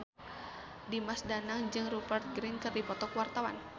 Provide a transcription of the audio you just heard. Dimas Danang jeung Rupert Grin keur dipoto ku wartawan